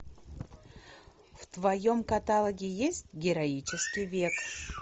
в твоем каталоге есть героический век